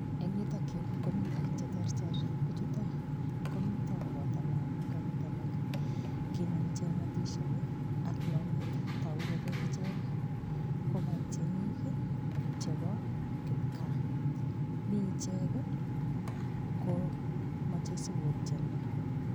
Eng yutok yu komi biik cheterter. Biichuto komito koboto lagok agot alak. Kinam ichek ngotisiek ii ak longet. Tagu kole icheg ii ko kaptienik chebo kipkaa. Mi icheg ii komoche sigotienwo.